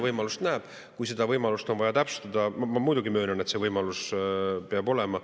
seda võimalust on vaja täpsustada, aga ma muidugi möönan, et see võimalus peab olema.